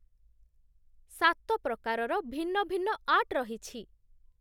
ସାତ ପ୍ରକାରର ଭିନ୍ନ ଭିନ୍ନ ଆର୍ଟ ରହିଛି